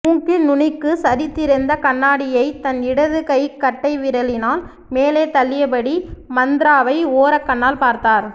மூக்கின் நுனிக்கு சரிந்திருந்த கண்ணாடியைத் தன் இடது கைக் கட்டை விரலினால் மேலே தள்ளியபடி மந்த்ராவை ஓரக் கண்ணால் பார்த்தார்